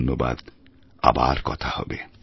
ধন্যবাদ আবার কথা হবে